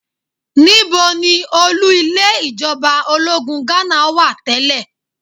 Níbo ni olú ilé ìjọba ológun Ghánà wà tẹ́lẹ̀?